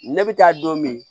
Ne bɛ taa don min